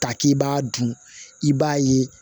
Ta k'i b'a dun i b'a ye